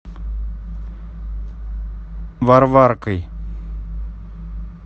варваркой